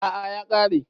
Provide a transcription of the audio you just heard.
A'a ya ƙare